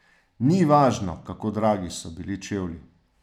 Ni važno, kako dragi so bili čevlji.